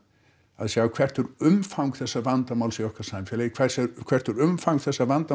að sjá hvert er umfang þessa vandamáls í okkar samfélagi hvert hvert er umfang þessa vandamáls